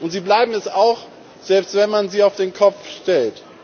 Sie bleiben es auch, selbst wenn man sie auf den Kopf stellt.